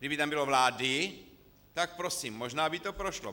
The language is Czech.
Kdyby tam bylo vlády, tak prosím, možná by to prošlo.